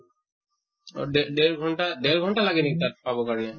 অহ দে দেৰ ঘন্টা দেৰ ঘন্টা লাগে নেকি তাত পাব কাৰণে?